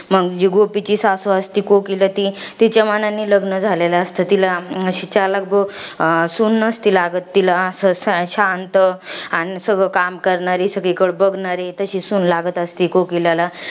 मंग, जी गोपीची सासू असते, कोकिला ती तिच्या मानाने लग्न झालेलं असतं. तिला अशी चलाख ब सून नसती लागत. तिला अशी, शांत आणि सगळी कामं करणारी, सगळीकड बघणारी तशी सून लागत असती कोकीलाला.